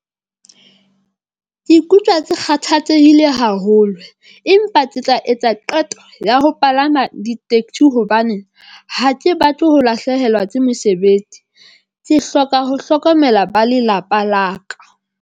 Ke ikutlwa ke kgathatsehile haholo empa ke tla etsa qeto ya ho palama ditekesi hobane ha ke batle ho lahlehelwa ke mosebetsi, ke hloka ho hlokomela ba lelapa la ka.